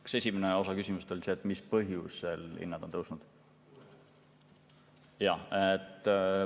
Kas esimene osa küsimusest oli see, mis põhjusel hinnad on tõusnud?